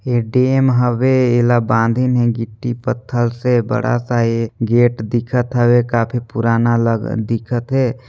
ऐ dam हवे एला बंधिनहे गिट्टी पत्थर से बड़ा सा एक गेट दिखत हवे काफी पुराना लग दिखत हे।